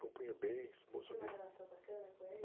compunha bem, bom sambista.ocê tinha uma relação bacana com ele?